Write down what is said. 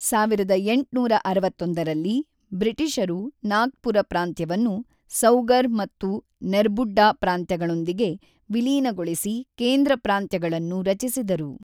ಸಾವಿರದ ಎಂಟುನೂರ ಅರವತ್ತೊಂದರಲ್ಲಿ ಬ್ರಿಟಿಷರು ನಾಗ್ಪುರ ಪ್ರಾಂತ್ಯವನ್ನು ಸೌಗರ್ ಮತ್ತು ನೆರ್ಬುಡ್ಡಾ ಪ್ರಾಂತ್ಯಗಳೊಂದಿಗೆ ವಿಲೀನಗೊಳಿಸಿ ಕೇಂದ್ರ ಪ್ರಾಂತ್ಯಗಳನ್ನು ರಚಿಸಿದರು.